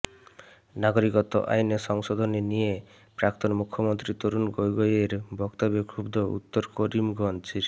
নাগরিকত্ব আইনে সংশোধনী নিয়ে প্রাক্তন মুখ্যমন্ত্রী তরুণ গগৈয়ের বক্তব্যে ক্ষুব্ধ উত্তর করিমগঞ্জের